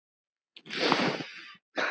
Takk fyrir allt, kæri Árni.